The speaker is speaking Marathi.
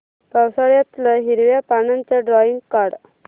पावसाळ्यातलं हिरव्या पानाचं ड्रॉइंग काढ